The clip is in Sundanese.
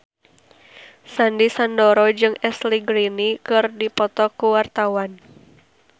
Sandy Sandoro jeung Ashley Greene keur dipoto ku wartawan